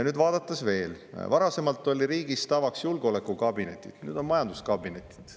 Nüüd, vaadates veel, varasemalt olid riigis tavaks julgeolekukabinetid, nüüd on majanduskabinetid.